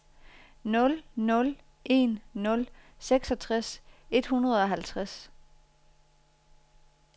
nul nul en nul seksogtres et hundrede og halvtreds